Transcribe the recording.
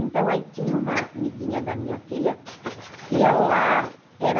Então, aí tinha uma amiguinha da minha filha, que ela era...